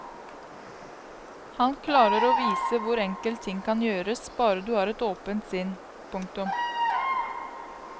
Han klarer å vise hvor enkelt ting kan gjøres bare du har et åpent sinn. punktum